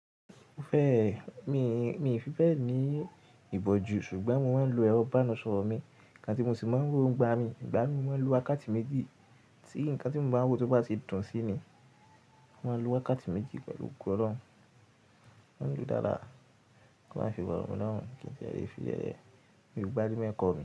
Mi-- mi ò fi bẹ́ẹ̀ ní ìbòjú ṣùgbọ́n mo máa ń lo ẹrọ ibániṣorọ́ mi. Ígbà tí mo sì máa ń woo ni ìgbá mi, ìgbá mii mo máa ń lo wàkáti méjì. Tí nǹkan tí mo báa ń wo tó bá ti dùn sí mi, mo máa n lo wàkáti méjì pẹ̀lú ogo ọlọ́run mo máa ń lò dáadáa, tí ó má file rọ̀ mi lọ́rùn kí n tó lè fi sí lele. Mi ò gba rí mo ẹ́kọ̀ mi.